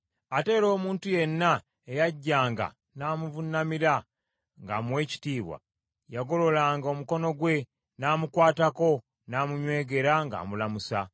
Ate era omuntu yenna eyajjanga n’amuvuunamira ng’amuwa ekitiibwa, yagololanga omukono gwe, n’amukwatako n’amunywegera ng’amulamusa.